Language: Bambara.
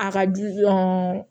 A ka jugu